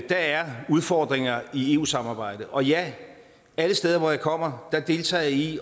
der er udfordringer i eu samarbejdet og ja alle steder hvor jeg kommer deltager jeg i